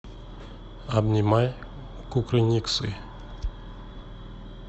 обнимай кукрыниксы